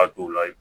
A t'o la